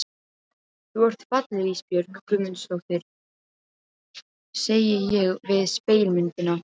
Þú ert falleg Ísbjörg Guðmundsdóttir, segi ég við spegilmyndina.